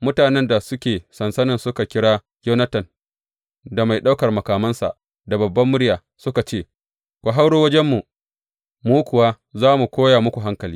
Mutanen da suke sansanin suka kira Yonatan da mai ɗaukan makamansa da babbar murya suka ce, Ku hauro wajenmu, mu kuwa za mu koya muku hankali.